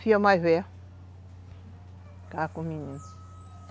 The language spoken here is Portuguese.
filha mais velha, ficava com os